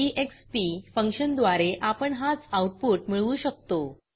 E X P फंक्शनद्वारे आपण हाच आऊटपुट मिळवू शकतो